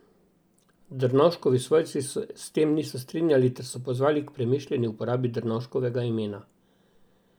Drnovškovi svojci se s tem niso strinjali ter so pozvali k premišljeni uporabi Drnovškovega imena.